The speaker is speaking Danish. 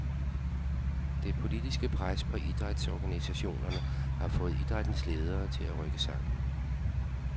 Det politiske pres på idrætsorganisationerne har fået idrættens ledere til at rykke sammen.